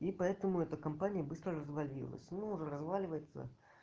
и поэтому эта компания быстро развалилась ну уже разваливается